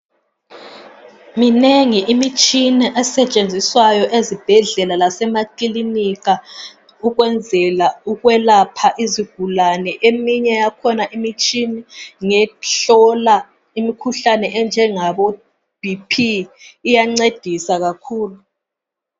Minengi imitshina esetshenziswayo ezibhedlela lasemakilinika ukwenzela ukwelapha izigulane. Eminye yakhona imitshina ngehlola imikhuhlane enjengabo bp iyancedisa kakhulu.